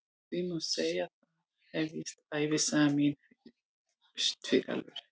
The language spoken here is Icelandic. Því má segja að þar hefjist ævisaga mín fyrst fyrir alvöru.